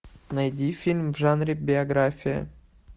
найди фильм в жанре биография